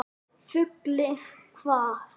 Fullir hvað.!?